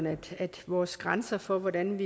at vores grænse for hvordan